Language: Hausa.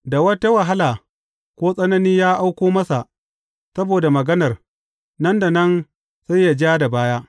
Da wata wahala ko tsanani ya auko masa saboda maganar, nan da nan sai yă ja da baya.